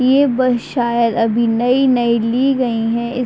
ये बस शायद अभी नई-नई ली गईं हैं इस --